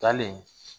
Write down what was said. Taalen